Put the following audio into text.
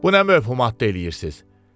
Bu nə məvhumat eləyirsiz?